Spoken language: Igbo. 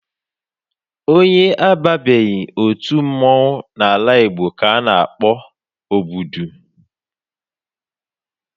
Onye ababeghị otu mmọnwụ n'ala Igbo ka a na-akpọ ogbodu